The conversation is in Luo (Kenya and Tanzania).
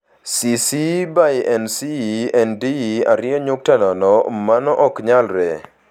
CC BY-NC-ND 2.0 Mano ok nyalre.